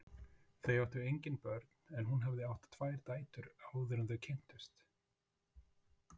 Þau áttu engin börn en hún hafði átt tvær dætur áður en þau kynntust.